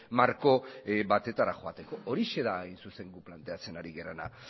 marko batetara joateko horixe da hain zuzen guk planteatzen ari garena